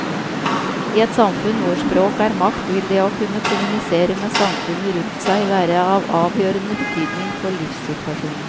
I et samfunn hvor språk er makt vil det å kunne kommunisere med samfunnet rundt seg være av avgjørende betydning for livssituasjonen.